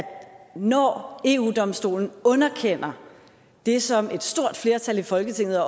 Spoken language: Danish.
når eu domstolen underkender det som et stort flertal i folketinget